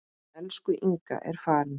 Elsku Inga er farin.